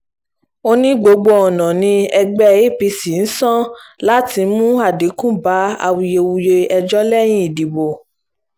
ó ní gbogbo ọ̀nà ni ẹgbẹ́ apc ń san láti mú àdínkù bá awuyewuye ẹjọ́ lẹ́yìn ìdìbò